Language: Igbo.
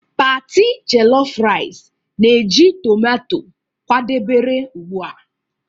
party jellof rice na-eji tomato kwadebere ugbu a